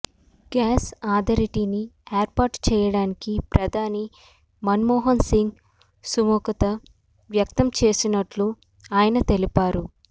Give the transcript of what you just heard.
gas అథారిటీని ఏర్పాటు చేయడానికి ప్రధాని మన్మోహన్ సింగ్ సుముఖత వ్యక్తం చేసినట్లు ఆయన తెలిపారు